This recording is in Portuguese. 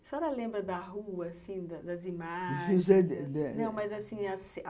A senhora lembra da rua assim, das imagens?